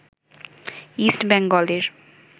east বেঙ্গলের